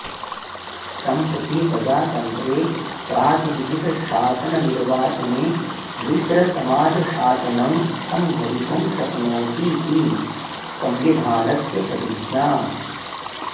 सम्प्रति प्रजातन्त्रे प्रातिनिधिकशासननिर्वाचने मिश्रसमाजशासनं सम्भवितुं शक्नोतीति सम्विधानस्य प्रतिज्ञा